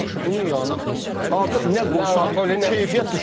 Yaxşı, bunun yanına artıq nə qoysan keyfiyyət düşür.